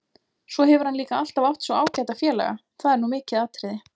Svo hefur hann líka alltaf átt svo ágæta félaga, það er nú mikið atriði.